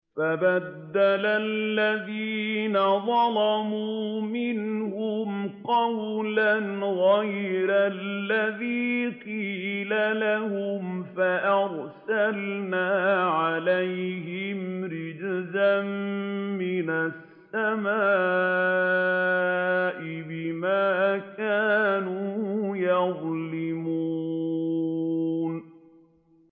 فَبَدَّلَ الَّذِينَ ظَلَمُوا مِنْهُمْ قَوْلًا غَيْرَ الَّذِي قِيلَ لَهُمْ فَأَرْسَلْنَا عَلَيْهِمْ رِجْزًا مِّنَ السَّمَاءِ بِمَا كَانُوا يَظْلِمُونَ